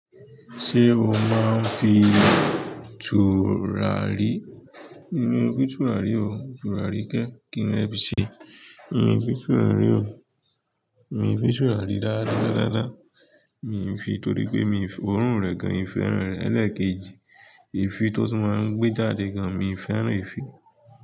Ṣé o máa ń fi tùràrí? Mi ò ní fi tùràrí o, tùràrí kẹ́ kí ni mo fẹ fi ṣe? Mi ò fi tùràrí o. Mi ò fi tùràrí ráaráa, ráaráa. Mi ò ń fi torí pé mi ò rún rẹ̀ gan. Mi ò fẹ́ràn rẹ̀ ẹlẹ́ẹ̀kejì. Éfí to tún máa ń gbé jáde gán, mi o fẹ́ràn éfí.